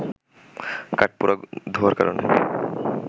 কাঠপোড়া ধোঁয়ার কারণে